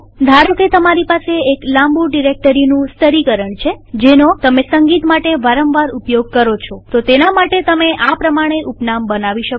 ધારોકે તમારી પાસે એક લાંબુ ડિરેક્ટરીઓનું સ્તરીકરણ છે જેનો તમે સંગીત માટે વારંવાર ઉપયોગ કરો છોતો તેના માટે તમે આ પ્રમાણે ઉપનામ બનાવી શકો